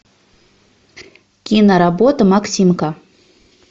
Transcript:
киноработа максимка